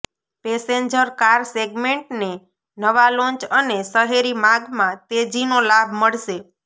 passenger car સેગમેન્ટને નવા launch અને શહેરી માગમાં તેજીનો લાભ મળશે